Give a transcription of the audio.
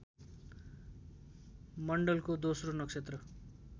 मण्डलको दोस्रो नक्षत्र